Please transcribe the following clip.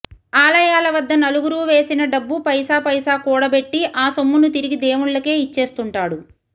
ఆలయాల వద్ద నలుగురూ వేసిన డబ్బు పైసా పైసా కూడబెట్టి ఆ సొమ్మును తిరిగి దేవుళ్లకే ఇచ్చేస్తుంటాడు